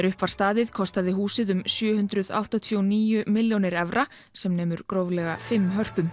upp var staðið kostaði húsið um sjö hundruð áttatíu og níu milljónir evra sem nemur gróflega fimm